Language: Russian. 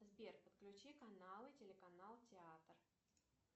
сбер подключи каналы телеканал театр